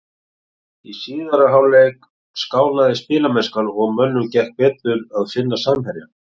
Í síðari hálfleik skánaði spilamennskan og mönnum gekk betur að finna samherja.